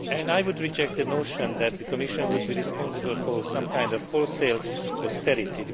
I would reject the notion that the Commission is responsible for some kind of wholesale austerity.